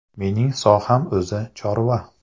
Menining soham o‘zi – chorva.